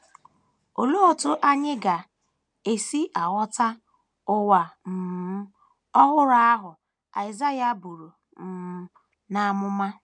Olee otú anyị ga - esi aghọta “ ụwa ” um ọhụrụ ahụ Aịsaịa buru um n’amụma?